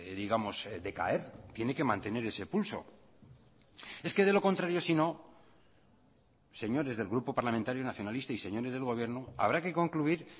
digamos decaer tiene que mantener ese pulso es que de lo contrario si no señores del grupo parlamentario nacionalista y señores del gobierno habrá que concluir